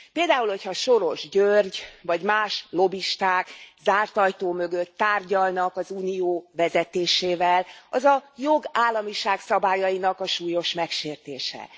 Például, hogyha Soros György, vagy más lobbisták zárt ajtó mögött tárgyalnak az Unió vezetésével, az a jogállamiság szabályainak a súlyos megsértése.